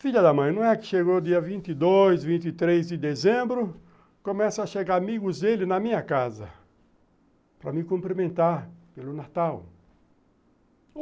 Filha da mãe, não é que chegou dia vinte, vinte e três de dezembro, começam a chegar amigos dele na minha casa para me cumprimentar pelo Natal.